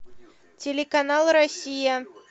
телеканал россия